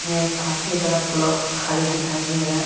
यहाँ एक काफी बड़ा प्लॉट खाली दिखाई दे रहा --